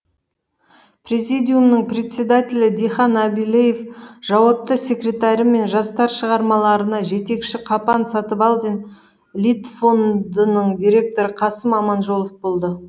президиумның председателі дихан әбілев жауапты секретары мен жастар шығармаларына жетекші қапан сатыбалдин литфондының директоры қасым аманжолов болды